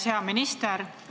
Hea minister!